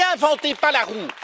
Ne réinventez pas la roue!